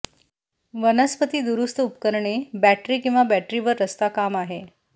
वनस्पती दुरुस्त उपकरणे बैटरी किंवा बॅटरीवर रस्ता काम आहे